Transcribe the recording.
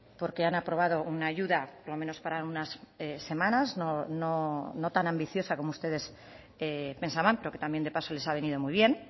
porque han aprobado una ayuda por lo menos para unas semanas no tan ambiciosa como ustedes pensaban pero que también de paso les ha venido muy bien